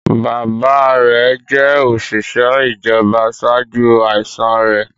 Bàbáa rẹ̀ jẹ́ òṣìṣẹ́ ìjọba ṣáájú àìsàn rẹ̀.